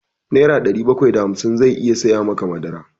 Nera ɗari bakwai da hamsin zai iya saya maka madara.